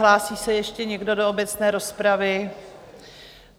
Hlásí se ještě někdo do obecné rozpravy?